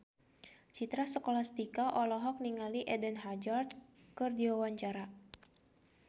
Citra Scholastika olohok ningali Eden Hazard keur diwawancara